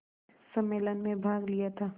सम्मेलन में भाग लिया था